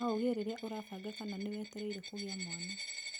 No ũgĩe rĩrĩa ũrabanga kana nĩwetereire kũgĩa mwana.